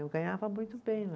Eu ganhava muito bem lá.